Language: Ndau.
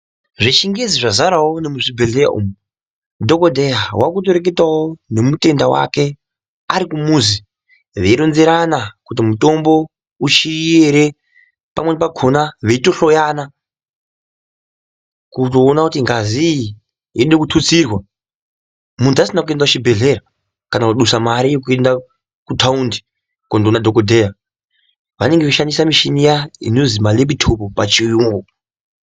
Zvechingezi zvazarawo nemuchibhedhlera umu dhokodheya wakutoreketao nemutenda wake arikumuzi veironzerana kuti mutombo uchiyo ere pamweni pakona veitohloyana kutopona kuti ngazi iyi yode kututsirwa muntu asina kuenda kuchibhedhlera kana kusisa mare yekuenda kutaunda kondoona dhokodheya, vanenge veishandisa mishina iya inozi ma(laptop) pachiyunyu.